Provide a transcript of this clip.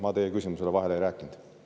Ma teie küsimusele vahele ei rääkinud.